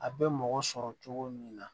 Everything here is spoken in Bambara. A bɛ mɔgɔ sɔrɔ cogo min na